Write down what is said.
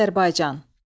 Azərbaycan.